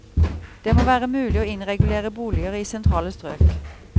Det må være mulig å innregulere boliger i sentrale strøk.